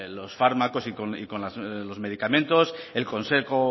los fármacos y con los medicamentos el consejo